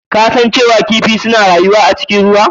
Kun san cewa kifi suna rayuwa a cikin ruwa?